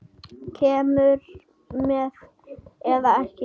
Kemurðu með eða ekki.